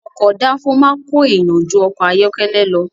Ọkọ̀ dáńfó máa ń ko èèyàn jú ọkọ̀ ayọ́kẹ́lẹ́ lọ.